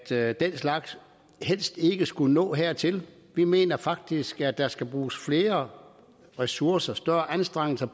at den slags helst ikke skulle nå dertil vi mener faktisk at der skal bruges flere ressourcer større anstrengelser